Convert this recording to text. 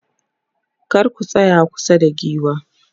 kar ku tsaya kusa da giwa